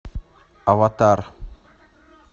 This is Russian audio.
аватар